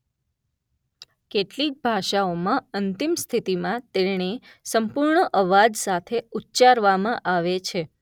કેટલીક ભાષાઓમાં અંતિમ સ્થિતિમાં તેને સંપૂર્ણ અવાજ સાથે ઉચ્ચારવામાં આવે છે.